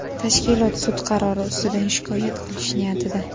tashkilot sud qarori ustidan shikoyat qilish niyatida.